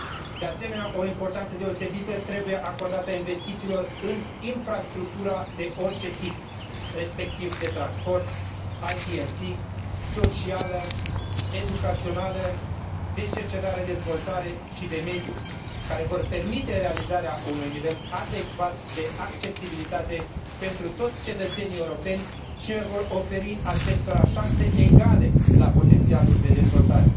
De asemenea, o importanță deosebită trebuie acordată investițiilor în infrastructura de orice tip, respectiv de transport, ITC, socială, educațională, de cercetare dezvoltare și de mediu, care vor permite realizarea unui nivel adecvat de accesibilitate pentru toți cetățenii europeni și le vor oferi acestora șanse egale la potențialul de dezvoltare.